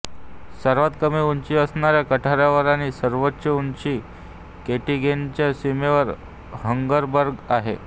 सर्वात कमी उंची आरच्या काठावर आणि सर्वोच्च उंची केटीगेनच्या सीमेवर हंगरबर्ग आहे